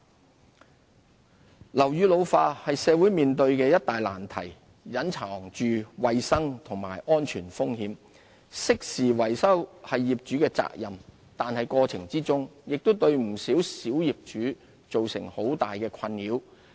支援樓宇復修樓宇老化是社會面對的一大難題，隱藏着衞生和安全風險，適時維修是業主的責任，但過程中亦對不少小業主造成很大的困擾。